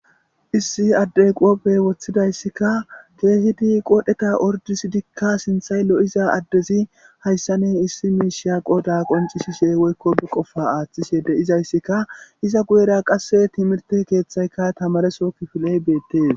issi addey qooppey woththidayssikka keehidi qodheta ordisidikka sinthay lo'iza addezi hayssanne issi miishia qoda qonci shishe woykko be qofa aaththishede izayssika iza guyera qasse timirte keeththayka tamareso kifiley beettees